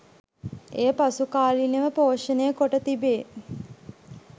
එය පසු කාලීනව පෝෂණය කොට තිබේ